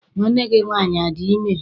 Nwanne gị nwaanyị adị ime?